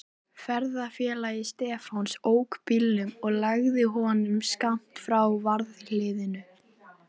Ferðafélagi Stefáns ók bílnum og lagði honum skammt frá varðhliðinu.